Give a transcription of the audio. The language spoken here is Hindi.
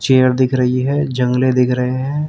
चेयर दिख रही है जंगले दिख रहे हैं।